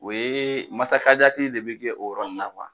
O ye masakajati de bɛ kɛ o yɔrɔ nin na kuwa.